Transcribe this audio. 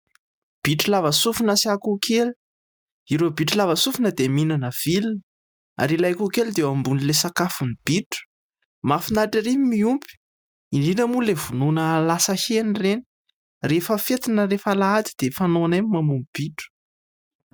Bitro lava sofina sy akoho kely, ireo bitro lava sofina dia mihinana vilona ary ilay akoho kely dia eo ambonin'ilay sakafony bitro. Mahafinaritra ery ny miompy indrindra moa ilay vonoina lasa hena ireny rehefa fety na rehefa alahady dia fanaonay ny mamono bitro.